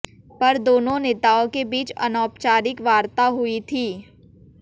पर दोनों नेताओं के बीच अनौपचारिक वार्ता हुई थी